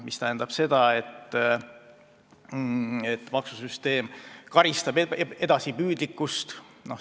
See tähendab, et maksusüsteem karistab edasipüüdlikkust.